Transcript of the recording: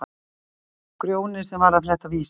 sagði Grjóni sem var að fletta Vísi.